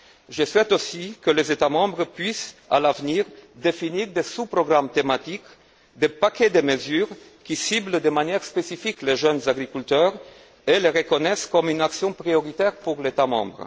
Je souhaite que les États membres puissent à l'avenir définir des sous programmes thématiques, des paquets de mesures qui ciblent de manière spécifique les jeunes agriculteurs et qui les reconnaissent comme une catégorie prioritaire pour l'État membre.